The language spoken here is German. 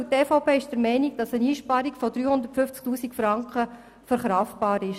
Die EVP ist der Meinung, dass eine Einsparung von 350 000 Franken so verkraftbar ist.